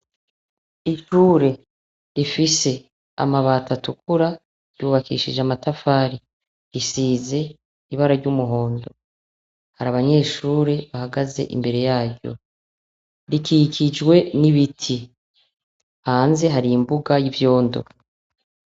Ishure rifise amabati atukura ryubakishije amatafari, risize ibara ry'umuhondo. Hari abanyeshuri bahagaze imbere yaryo. Rikikijwe n'ibiti. Hanze hari imbuga y'ivyondo.